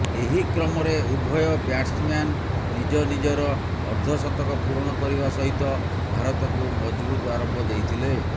ଏହି କ୍ରମରେ ଉଭୟ ବ୍ୟାଟସମ୍ୟାନ ନିଜ ନିଜର ଅର୍ଦ୍ଧଶତକ ପୂରଣ କରିବା ସହିତ ଭାରତକୁ ମଜବୁତ ଆରମ୍ଭ ଦେଇଥିଲେ